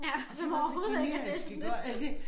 Ja og så overhovedet ikke ja det sådan lidt